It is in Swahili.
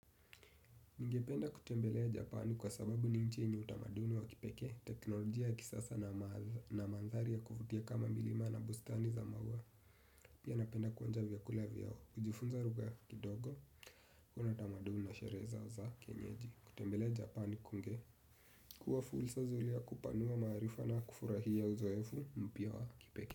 Ningependa kutembelea japani kwa sababu ni nchi yenye utamadunu wa kipekee, teknolojia ya kisasa na mandhari ya kuvutia kama milima na bustani za maua. Pia napenda kuonja vyakula vyao. Kujifunza lugha kidogo, kuona tamaduni na sherehe zao za kienyeji. Kutembelea japani kunge. Kuwa fursa zuri ya kupanua maarifa na kufurahia uzoefu mpya wa kipekee.